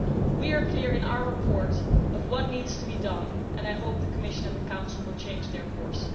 We are clear in our report on what needs to be done, and I hope the Commission and the Council will change their course.